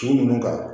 Sugu ninnu kan